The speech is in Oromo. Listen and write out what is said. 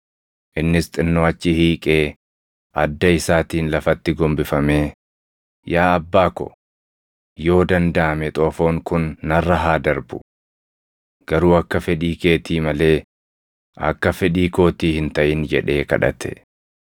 Innis xinnoo achi hiiqee adda isaatiin lafatti gombifamee, “Yaa Abbaa ko, yoo dandaʼame xoofoon kun narra haa darbu. Garuu akka fedhii keetii malee akka fedhii kootii hin taʼin” jedhee kadhate.